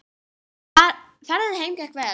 Ferðin heim gekk vel.